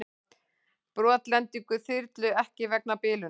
Brotlending þyrlu ekki vegna bilunar